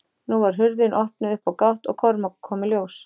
Nú var hurðin opnuð upp á gátt og Kormákur kom í ljós.